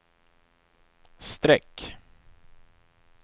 streck